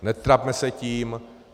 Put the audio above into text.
Netrapme se tím.